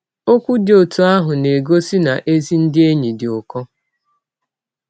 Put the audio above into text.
Ọkwụ dị ọtụ ahụ na - egọsi na ezi ndị enyi dị ụkọ.